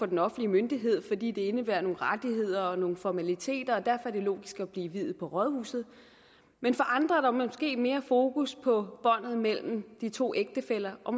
en offentlig myndighed fordi det indebærer nogle rettigheder og nogle formaliteter og derfor er det logisk at blive viet på rådhuset men andre igen har måske mere fokus på båndet mellem de to ægtefæller og